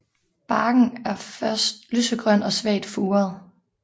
Barken er først lysegrøn og svagt furet